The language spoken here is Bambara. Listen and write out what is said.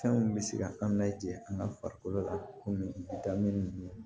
Fɛnw bɛ se ka an laja an ka farikolo la komi da min